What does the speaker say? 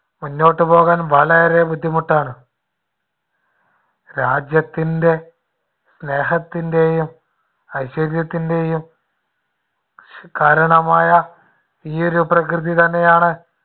മുന്നോട്ടുപോകാൻ വളരെ ബുദ്ധിമുട്ടാണ്. രാജ്യത്തിൻടെ സ്നേഹത്തിന്‍ടെയും ഐശ്വര്യത്തിന്‍ടെയും കാരണമായ ഈ ഒരു പ്രകൃതിതന്നെയാണ്